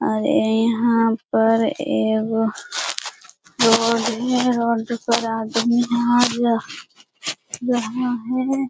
और यिहाँ पर एगो रोड है रोड पर आदमी है यहाँ हैं।